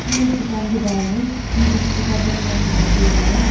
ये एक दुकान के बाहर है जिसमें एक छोटा सा दुकान दिखाई दे रहा है।